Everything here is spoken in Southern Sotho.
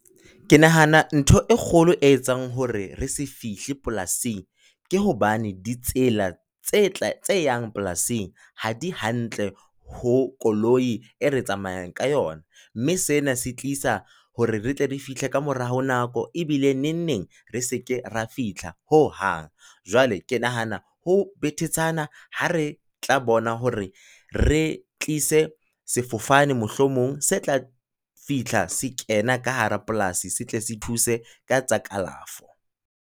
Ke nahana ntho e kgolo e etsang hore re se fihle polasing, ke hobane ditsela tse tla tse yang polasing ha di hantle ho koloi e re tsamayang ka yona. Mme sena se tlisa hore re tle re fihle ka mora nako, ebile neng neng re seke ra fihla ho hang. Jwale ke nahana ho betetshana ha re tla bona hore re tlise sefofane mohlomong, se tla fihla se kena ka hara polasi se tle se thuse ka tsa kalafo.